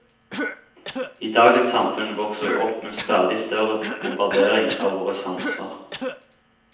I dagens samfunn vokser vi opp med en stadig større bombardering av våre sanser.